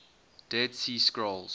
dead sea scrolls